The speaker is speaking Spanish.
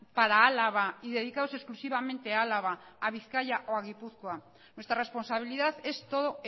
para álava y dedicados exclusivamente a álava a bizkaia o a gipuzkoa nuestra responsabilidad es todo